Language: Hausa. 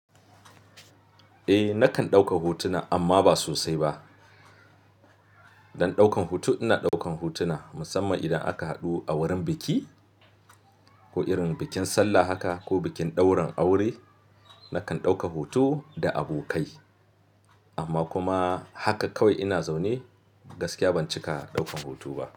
Eh nakan ɗauka hotuna amma ba sosai ba. Dan ɗaukan hoto ina ɗaukan hotuna musamman idan aka haɗu a wurin biki, ko irin bikin sallah haka ko bikin ɗaurin aure. Nakan ɗauka hoto da abokai amma kuma haka kawai ina zaune, gaskiya ban cika ɗaukan hoto ba.